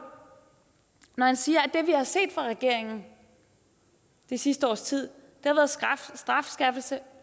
når han siger at det vi har set fra regeringen det sidste års tid har været strafskærpelse